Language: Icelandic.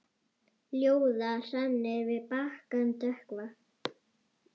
Ljóða hrannir við bakkann dökkva.